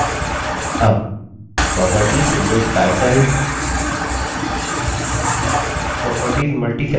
अब properties window title properties multiselection की तरह से पढता है